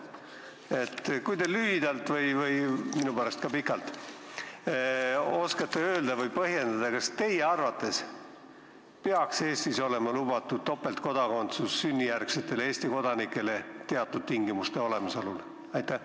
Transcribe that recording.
Kas te oskate lühidalt – või minu pärast ka pikalt – öelda või põhjendada, kas teie arvates peaks Eestis olema lubatud topeltkodakondsus sünnijärgsetele Eesti kodanikele teatud tingimuste olemasolul?